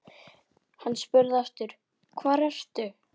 Hann spurði aftur: Hvar ertu?